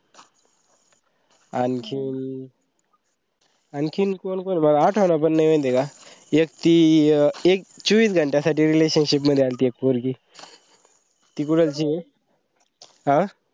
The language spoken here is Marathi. आणखीन, आणखीन कोण कोण आठवण पण नई माहिताय का एक ती चोवीस घंट्यासाठी relationship मध्ये आल्ती एक पोरगी ती कुडाळचीये